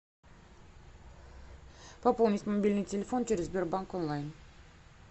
пополнить мобильный телефон через сбербанк онлайн